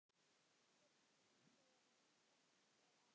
Birtist þegar rakt er á.